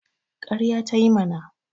Ƙarya ta yi mana